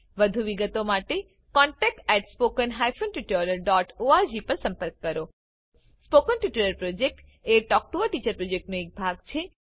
વધુ વિગતો માટે contactspoken tutorialorg પર લખો spoken tutorial project talk to a teacher પ્રોજેક્ટનો એક ભાગ છે